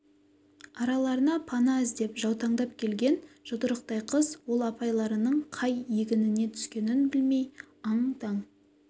араларына пана іздеп жаутаңдап келген жұдырықтай қыз ол апайларының қай егініне түскенін білмей аң-таң